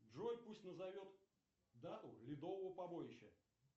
джой пусть назовет дату ледового побоища